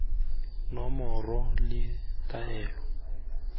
nomoro le taelo ya tshenyo